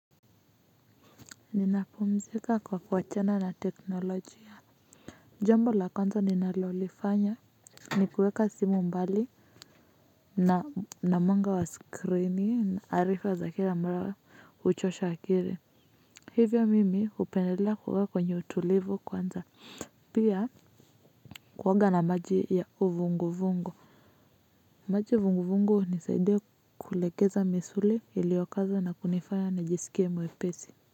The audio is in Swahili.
Ninapumzika kwa kuwachana na teknolojia. Jambo la kwanza ninalolifanya ni kuweka simu mbali na mwanga wa skrini na arifa za kira mara huchosha akiri. Hivyo mimi hupendela kuwa kwenye utulivu kwanza pia kuoga na maji ya uvunguvungu. Maji vunguvungu hunisaidia kulegeza misuli iliokaza na kunifanya nijisikie mwepesi.